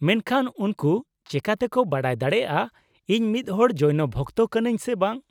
-ᱢᱮᱱᱠᱷᱟᱱ ᱩᱱᱠᱩ ᱪᱮᱤᱠᱟᱹᱛᱮᱠᱚ ᱵᱟᱰᱟᱭ ᱫᱟᱲᱮᱭᱟᱜᱼᱟ ᱤᱧ ᱢᱤᱫᱦᱚᱲ ᱡᱳᱭᱱᱚ ᱵᱷᱚᱠᱛᱚ ᱠᱟᱹᱱᱟᱹᱧ ᱥᱮ ᱵᱟᱝ ?